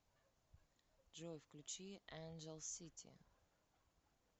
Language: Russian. джой включи энджел сити